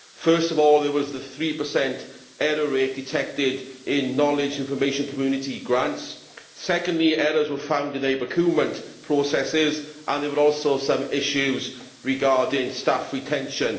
First of all, there was the 3 error rate detected in knowledge information community grants. Secondly, errors were found in procurement processes, and there were also some issues regarding staff retention.